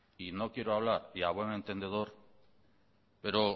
y no quiero hablar y a buen entendedor pero